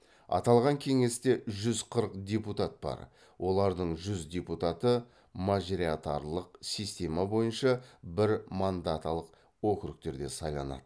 аталған кеңесте жүз қырық депутат бар олардың жүз депутаты можаритарлық система бойынша бірмандаталық округтерде сайланады